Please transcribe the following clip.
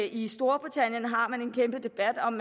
i storbritannien har man en kæmpe debat om